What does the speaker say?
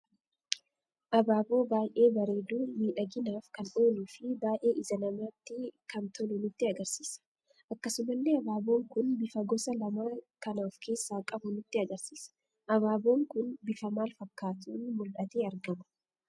Abaaboo baay'ee bareedu miidhaginaaf kan ooluu fi baay'ee ija namatti kan tolu nutti agarsiisa. Akkasumallee abaaboon kun bifa gosa lama kan of keessa qabu nutti agarsiisa. Abaaboon kun bifa maal fakkatun muldhate argama?